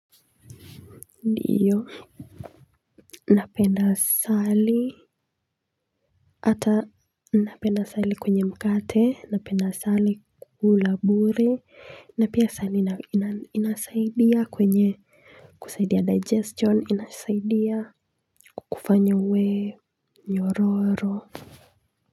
Ndiyo napenda asali hata napenda asali kwenye mkate napenda sali kula bure na pia asali inasaidia kwenye kusaidia digestion inasaidia kukufanya uwe nyororo.